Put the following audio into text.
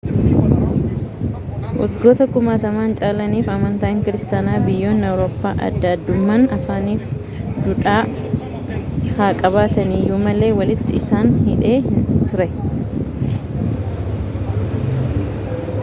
waggoota kumaatama caalaniif amantaan kiristaanaa biyyoonni awurooppaa adda addummaa afaanii fi duudhaa haa qabatani iyyuu malee walitti isaan hidhee ture i